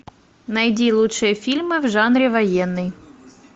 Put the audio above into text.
найди лучшие фильмы в жанре военный